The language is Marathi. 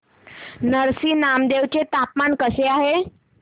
नरसी नामदेव चे तापमान कसे आहे